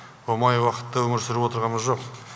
оңай уақытта өмір сүріп отырғамыз жоқ